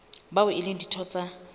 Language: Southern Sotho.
bao e leng ditho tsa